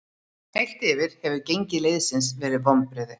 Heilt yfir hefur gengi liðsins verið vonbrigði.